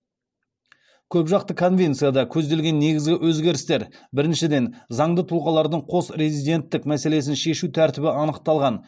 көпжақты конвенцияда көзделген негізгі өзгерістер біріншіден заңды тұлғалардың қос резиденттік мәселесін шешу тәртібі анықталған